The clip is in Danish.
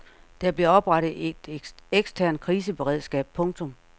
Der bliver oprettet et eksternt kriseberedskab. punktum